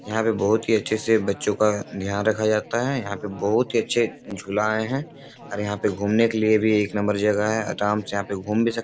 यहाँ पे बोहोत ही अच्छे से बच्चो का ध्यान रखा जाता है। यहाँ पे बोहोत ही अच्छे झूला आये है और यहाँ पे घुमने के लिए भी एक नंबर जगह है। आराम से यहाँ पे घूम भी सक --